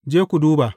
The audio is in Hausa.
Je ku duba.